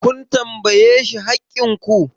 kun tambaye shi haƙƙin ku!